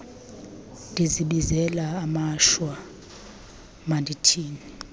ndizibizela amashwa mandithini